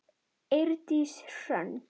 Eydís Hrönn.